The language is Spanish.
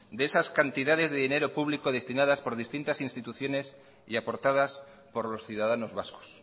de esas cantidades de dinero público destinadas por distintas instituciones y aportadas por los ciudadanos vascos